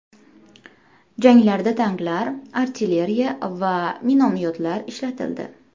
Janglarda tanklar, artilleriya va minomyotlar ishlatildi.